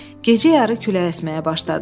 Gecə yarı külək əsməyə başladı.